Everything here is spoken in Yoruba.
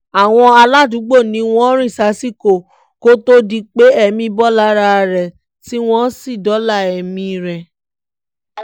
àwọn aládùúgbò ni wọ́n rìn sásìkò kó tóó di pé ẹ̀mí bọ́ lára ẹ tí wọ́n sì dóòlà ẹ̀mí rẹ